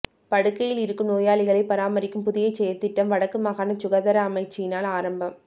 படுக்கையிலிருக்கும் நோயாளிகளை பராமரிக்கும் புதிய செயற்திட்டம் வடக்கு மாகாண சுகாதார அமைச்சினால் ஆரம்பம்